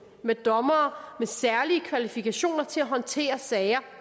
med dommere med særlige kvalifikationer til at håndtere sager